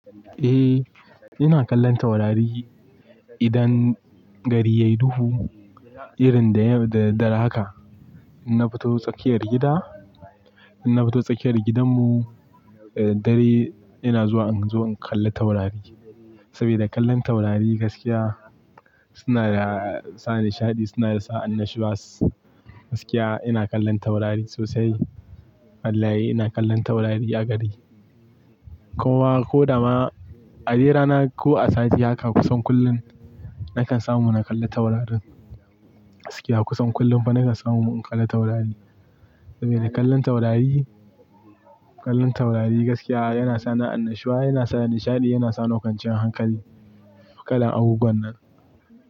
Eh, ina kallon taurari idan gari ya yi duhu. Irin da dare haka inna fito tsakiyar gida, inna fito tsakiyar gidanmu, da dare ina zuwa in kalla taurari. Sabida kallon taurari gaskiya suna sa nishaɗi, suna sa annashuwa. Gaskiya ina kallon taurari sosai. Wallahi ina kallon taurari a gari. Kowa ko da ma, adai rana ko a safe haka kusan kullum nakan samu in kalli taurarin. Gaskiya kusan kullum fa nakan samu in kalli taurari. Sabida kallon taurari, kallon taurari gaskiya yana sani annashuwa, yana sa nishaɗi, yana sa ni kwanciyan hankali, kalan abubuwan nan.